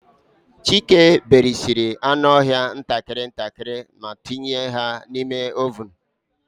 Chike berisiri anụ ọhịa ntakịrị ntakịrị ma tinye ha n'ime ovunu.